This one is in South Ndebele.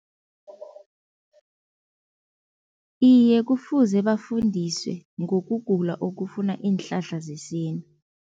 Iye kufuze bafundiswe ngokugula okufuna iinhlahla zesintu.